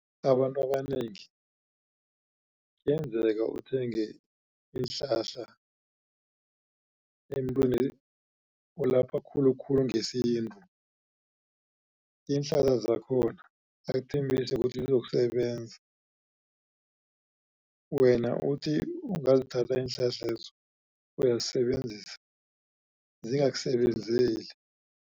Abantu abanengi kuyenzeka uthenge iinhlahla emntwini olapha khulukhulu ngesintu. Iinhlahla zakhona akuthembise ukuthi zizokusebenza wena uthi ungazithatha iinhlahlezo uyazisebenzisa zingakusebenzeli.